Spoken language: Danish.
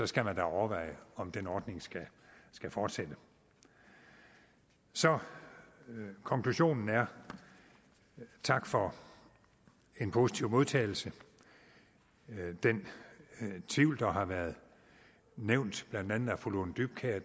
skal man da overveje om den ordning skal skal fortsætte så konklusionen er tak for en positiv modtagelse den tvivl der har været nævnt af blandt andet fru lone dybkjær